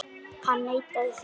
Hann neitaði því.